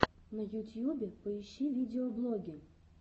на ютюбе поищи видеоблоги